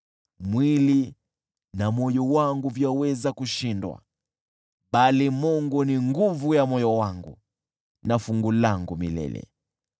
Mwili na moyo wangu vyaweza kushindwa, bali Mungu ni nguvu ya moyo wangu na fungu langu milele.